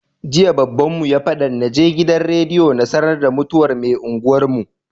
Jiya babbanmu ya fadan naje gidan rediyo na sAnar da mutuwar me unguwar mu